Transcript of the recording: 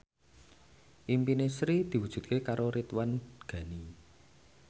impine Sri diwujudke karo Ridwan Ghani